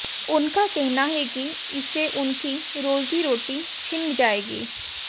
उनका कहना है कि इससे उनकी रोजी रोटी छिन जाएगी